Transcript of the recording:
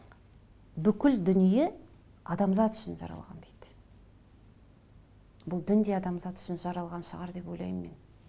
бүкіл дүние адамзат үшін жаралған дейді бұл дін де адамзат үшін жаралған шығар деп ойлаймын мен